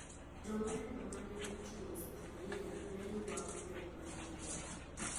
Jong`anyo ma ne oting`o sufuria ne yuago pek mar ngima